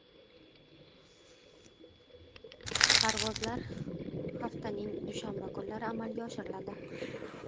Parvozlar haftaning dushanba kunlari amalga oshiriladi.